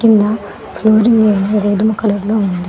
కింద ఫ్లోరింగ్ ఏమో గొధుమ కలర్ లో ఉంది.